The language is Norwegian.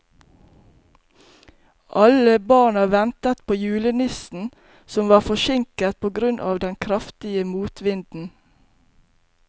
Alle barna ventet på julenissen, som var forsinket på grunn av den kraftige motvinden.